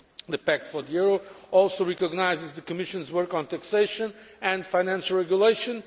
The Pact for the euro also recognises the Commission's work on taxation and financial regulation.